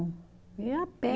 Ia a pé.